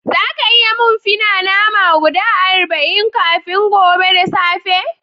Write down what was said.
Zaka iya yi mun fi na nama guda arba'in kafin gobe da safe?